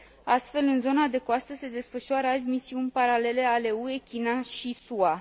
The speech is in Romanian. Astfel, în zona de coastă se desfășoară azi misiuni paralele ale UE, China și SUA.